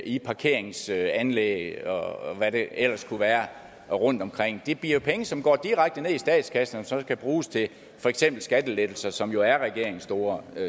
i parkeringsanlæg og hvad det ellers kunne være rundtomkring det bliver penge som går direkte ned i statskassen og som skal bruges til for eksempel skattelettelser som jo er regeringens store